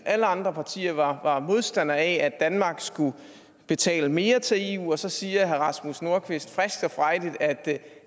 alle andre partier var modstander af at danmark skulle betale mere til eu men så sagde herre rasmus nordqvist frisk og frejdigt at